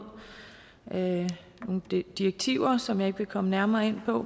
nogle direktiver som jeg ikke vil komme nærmere ind på